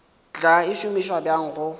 tla e šomiša bjang go